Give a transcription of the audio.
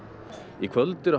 í kvöld eru